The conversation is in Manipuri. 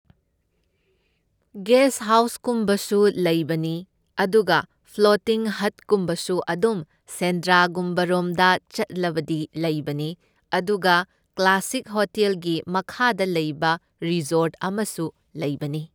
ꯒꯦꯁ ꯍꯥꯎ꯭ꯁꯀꯨꯝꯕꯁꯨ ꯂꯩꯕꯅꯤ, ꯑꯗꯨꯒ ꯐ꯭ꯂꯣꯇꯤꯡ ꯍꯠꯀꯨꯝꯕꯁꯨ ꯑꯗꯨꯝ ꯁꯦꯟꯗ꯭ꯔꯥꯒꯨꯝꯕꯔꯣꯝꯗ ꯆꯠꯂꯕꯗꯤ ꯂꯩꯕꯅꯤ, ꯑꯗꯨꯒ ꯀ꯭ꯂꯥꯁꯤꯛ ꯍꯣꯇꯦꯜꯒꯤ ꯃꯈꯥꯗ ꯂꯩꯕ ꯔꯤꯁꯣꯔꯠ ꯑꯃꯁꯨ ꯂꯩꯕꯅꯤ꯫